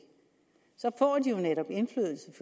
så får de jo netop indflydelse